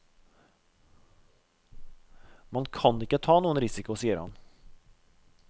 Man kan ikke ta noen risiko, sier han.